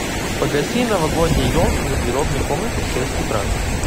погаси новогодняя елка в гардеробной комнате в шесть утра